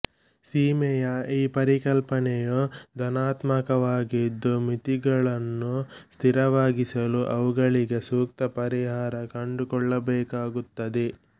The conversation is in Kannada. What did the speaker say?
ಸೀಮೆಯ ಈ ಪರಿಕಲ್ಪನೆಯು ಧನಾತ್ಮಕವಾಗಿದ್ದು ಮಿತಿಗಳನ್ನು ಸ್ಥಿರವಾಗಿಸಲು ಅವುಗಳಿಗೆ ಸೂಕ್ತ ಪರಿಹಾರ ಕಂಡುಕೊಳ್ಳಬೇಕಾಗುತ್ತದೆ